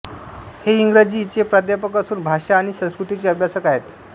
हे इंग्रजी चे प्राध्यापक असून भाषा आणि संस्कृतीचे अभ्यासक आहेत